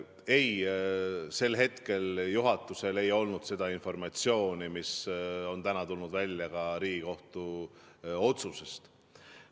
Ei, sel hetkel ei olnud juhatusel seda informatsiooni, mis on täna tulnud välja ka Riigikohtu otsusest.